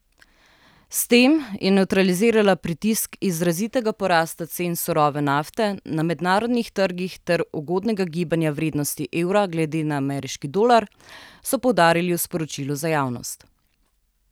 S tem je nevtralizirala pritisk izrazitega porasta cen surove nafte na mednarodnih trgih ter neugodnega gibanja vrednosti evra glede na ameriški dolar, so poudarili v sporočilu za javnost.